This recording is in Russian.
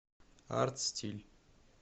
артстиль